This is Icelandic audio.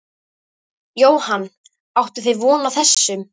Jóhann: Áttuð þið von á þessu?